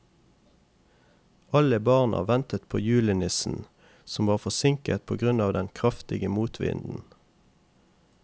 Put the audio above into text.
Alle barna ventet på julenissen, som var forsinket på grunn av den kraftige motvinden.